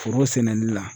Foro sɛnɛni na